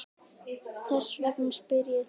Þess vegna spyr ég þig.